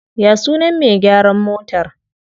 Ya sunan me gyaran motar?